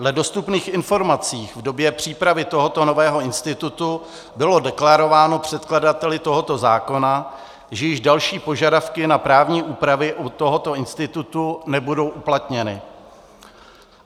Dle dostupných informací v době přípravy tohoto nového institutu bylo deklarováno předkladateli tohoto zákona, že již další požadavky na právní úpravy u tohoto institutu nebudou uplatněny.